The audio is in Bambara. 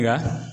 Nka